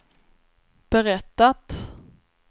berättat